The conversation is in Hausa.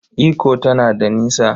Ikko tana da nisa.